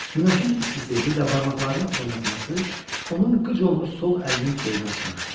Günəşin istisi, bir də barmaqlarını oynatması onun qıc olmuş sol əlinin keyini açmışdı.